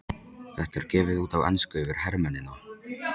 Þetta er gefið út á ensku fyrir hermennina!